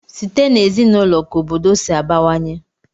Site n'ezinaụlọ ka obodo si abawanye.